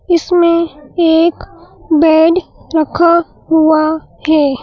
इसमें एक बेड रखा हुआ है।